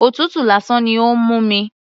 Òtútù lásán ni ó ń mú mi.